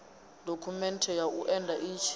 dokhumenthe ya u enda i